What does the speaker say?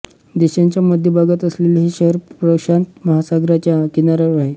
देशाच्या मध्यभागात असलेले हे शहर प्रशांत महासागराच्या किनाऱ्यावर आहे